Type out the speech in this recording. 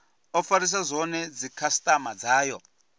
o farisa zwone dzikhasitama dzayo